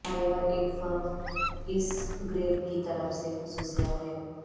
ہر ایک فرم اس گرڈ کی طرف سے خصوصیات ہے